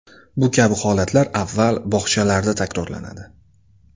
Bu kabi holatlar avval bog‘chalarda takrorlanadi.